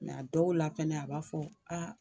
Mɛ a dɔw la fɛnɛ a b'a fɔ